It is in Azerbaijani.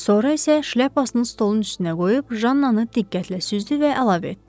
Sonra isə şlyapasını stolun üstünə qoyub Jannanı diqqətlə süzdü və əlavə etdi.